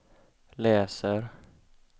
läser